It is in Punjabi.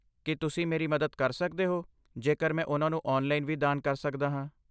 ਕੀ ਤੁਸੀਂ ਮੇਰੀ ਮਦਦ ਕਰ ਸਕਦੇ ਹੋ ਜੇਕਰ ਮੈਂ ਉਹਨਾਂ ਨੂੰ ਔਨਲਾਈਨ ਵੀ ਦਾਨ ਕਰ ਸਕਦਾ ਹਾਂ?